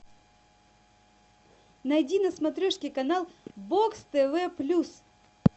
найди на смотрешке канал бокс тв плюс